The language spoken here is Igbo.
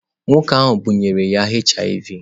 Nwoke ahụ bunyere ya HIV.